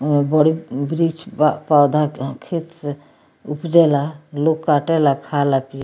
ओहमे बड़ी वृक्ष बा पौधा के खेत से उपजे ला लोग काटे ला खा ला पिय --